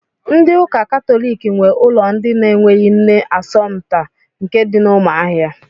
Ndị ụka katọliki nwe ụlọ ndị na-enweghị nne Asọmta nke dị na Ụmụahịa.